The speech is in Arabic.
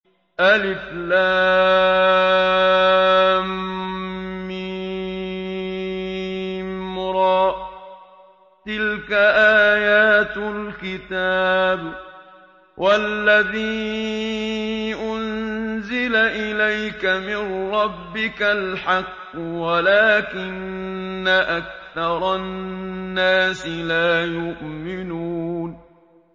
المر ۚ تِلْكَ آيَاتُ الْكِتَابِ ۗ وَالَّذِي أُنزِلَ إِلَيْكَ مِن رَّبِّكَ الْحَقُّ وَلَٰكِنَّ أَكْثَرَ النَّاسِ لَا يُؤْمِنُونَ